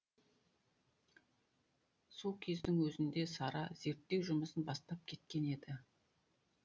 сол кездің өзінде сара зерттеу жұмысын бастап кеткен еді